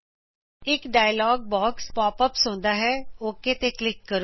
ਇਕ dialog box pop ups ਹੁੰਦਾ ਹੈ ਓਕ ਤੇ ਕਲਿਕ ਕਰੋ